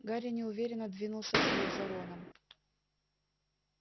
гарри неуверенно двинулся вслед за роном